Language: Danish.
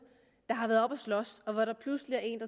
der har været oppe at slås og hvor der pludselig er en